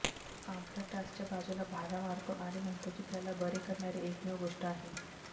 तो अम्फ्राटसच्या बाजूला भाला मारतो आणि म्हणतो की त्याला बरे करणारी एकमेव गोष्ट आहे